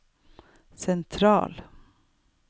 sentral